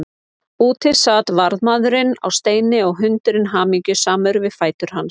Úti sat varðmaðurinn á steini og hundurinn hamingjusamur við fætur hans.